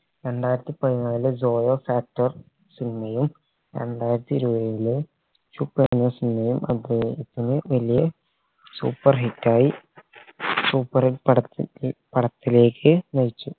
രണ്ടായിരത്തി പതിനനാല് zolofactor cinema യും രണ്ടായിരത്തി ഇരുപതിലെ എറങ്ങിയ cinema യും അദ്ദേഹത്തിന് വലിയ superhit ആയി superhit പടത്തി പടത്തിലേക്ക് നയിച്ചു